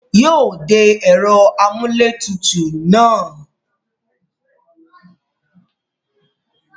Yóò de ẹ̀rọ amúlétutù náà.